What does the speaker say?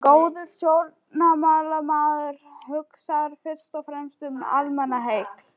Góður stjórnmálamaður hugsar fyrst og fremst um almannaheill.